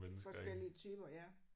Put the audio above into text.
Forskellige typer ja